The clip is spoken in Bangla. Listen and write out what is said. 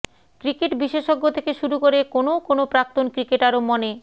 ক্রিকেট বিশেষজ্ঞ থেকে শুরু করে কোনও কোনও প্রাক্তন ক্রিকেটারও মনে